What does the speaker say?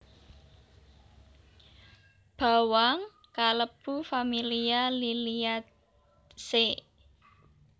Bawang kalebu familia Liliaceae